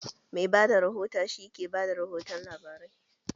Mai bada rihota shi ke bada rihotun labarai